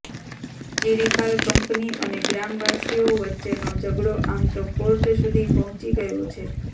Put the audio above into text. Chiripal company અને ગ્રામવાસીઓ વચ્ચેનો ઝઘડો આમ તો કોર્ટ સુધી પહોંચી ગયો છે